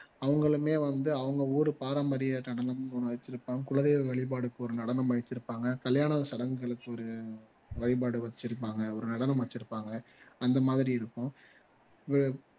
அவங்களுமே வந்து அவங்க ஊரு பாரம்பரிய நடனம்னு ஒண்ணு வச்சிருப்பாங்க குலதெய்வ வழிபாட்டுக்கு ஒரு நடனம் வச்சிருப்பாங்க கல்யாணம் சடங்குகளுக்கு ஒரு வழிபாடு வச்சிருப்பாங்க ஒரு நடனம் வச்சிருப்பாங்க அந்த மாதிரி இருக்கும் வ